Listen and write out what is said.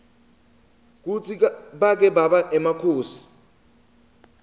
kutsi bake baba emakhosi